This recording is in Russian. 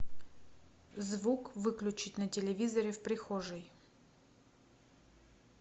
звук выключить на телевизоре в прихожей